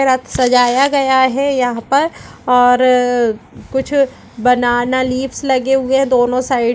सजाया गया है यहाँ पर और कुछ बनाना लीव्स लगे हुए हैं दोनों साइड ।